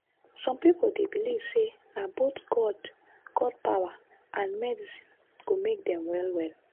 some people dey believe say na both god god power and medicine go make dem well well.